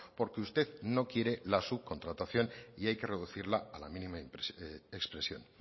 porque usted no quiere las subcontratación y hay que reducirla a la mínima expresión